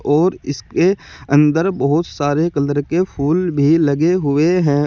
और इसके अंदर बहुत सारे कलर के फूल भी लगे हुए हैं।